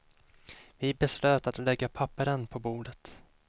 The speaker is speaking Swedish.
Vi beslöt att lägga papperen på bordet.